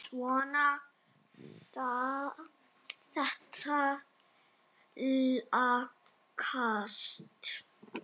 Svona, þetta lagast